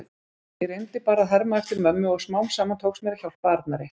Ég reyndi bara að herma eftir mömmu og smám saman tókst mér að hjálpa Arnari.